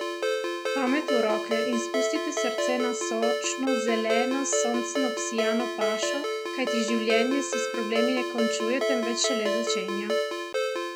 Pamet v roke in spustite srce na sočno, zeleno, s soncem obsijano pašo, kajti življenje se s problemi ne končuje, temveč šele začenja!